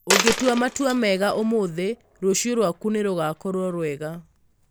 Ũngĩtua matua mega ũmũthĩ, rũciũ rwaku nĩ rũgaakorũo rwega.